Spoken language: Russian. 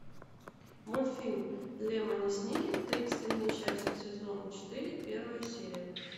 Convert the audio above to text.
мультфильм лемони сникет тридцать три несчастья сезон четыре первая серия